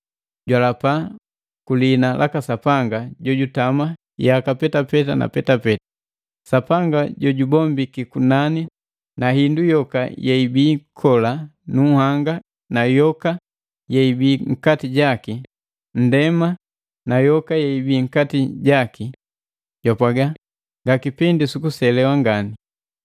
jwalapa ku lihina laka Sapanga jojutama yaka petapeta na petapeta, Sapanga jojubombiki kunani na hindu yoka yeibii kola nu nhanga na yoka yeibii nkati jaki, nndema na yoka yeibii nkati jaki. Jwapwaga, “Nga kipindi sukuselewa ngani!